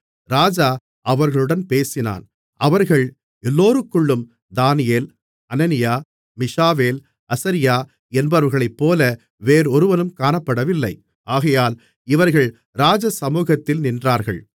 ராஜா அவர்களுடன் பேசினான் அவர்கள் எல்லோருக்குள்ளும் தானியேல் அனனியா மீஷாவேல் அசரியா என்பவர்களைப்போல வேறொருவனும் காணப்படவில்லை ஆகையால் இவர்கள் ராஜசமுகத்தில் நின்றார்கள்